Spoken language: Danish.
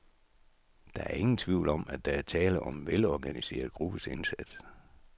Der er ingen tvivl om, at der er tale om en velorganiseret gruppes indsats.